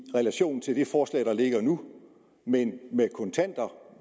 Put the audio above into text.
relation til det forslag der ligger nu men med kontanter